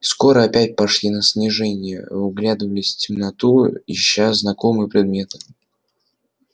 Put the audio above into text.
скоро опять пошли на снижение вглядывались в темноту ища знакомые приметы